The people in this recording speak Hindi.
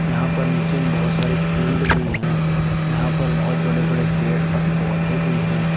यहां पर नीचे में बहुत सारे फील्ड भी है यहां पर बहोत बड़े बड़े पेड़ और पौधे भी हैं।